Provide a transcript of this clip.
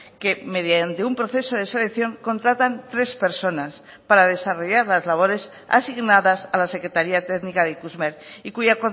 que mediante un proceso de selección contratan tres personas para desarrollar las labores asignadas a la secretaría técnica de ikusmer y cuya